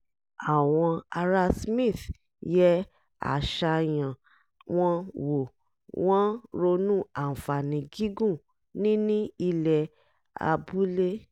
àwọn ará smith yẹ àṣàyàn wọn wò wọ́n ronú àǹfààní gígùn níní ilẹ̀ abúlé